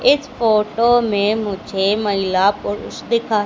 इस फोटो में मुझे महिला पुरुष दिखा--